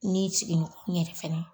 N'i sigiɲɔgɔn yɛrɛ fɛnɛ